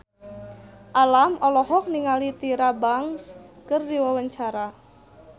Alam olohok ningali Tyra Banks keur diwawancara